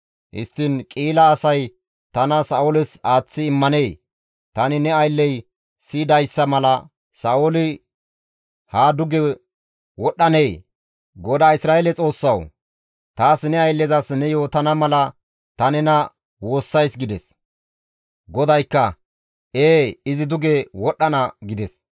Histtiin Qi7ila asay tana Sa7ooles aaththi immanee? Tani ne aylley siyidayssa mala Sa7ooli haa duge wodhdhanee? GODAA Isra7eele Xoossawu! Taas ne ayllezas ne yootana mala ta nena woossays» gides. GODAYKKA, «Ee izi duge wodhdhana» gides.